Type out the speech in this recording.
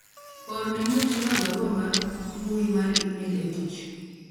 orne Mutinda barua mar mbui mar email e tich